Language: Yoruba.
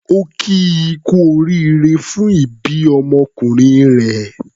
Ó kí i kú oríire fún ìbí ọmọkùnrin rẹ̀.